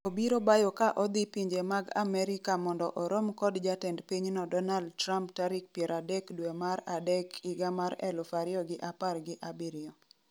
obiro bayo ka odhi pinje mag Amerika mondo orom kod jatend pinyno Donald Trump tarik 30 Dwe mar adek 2017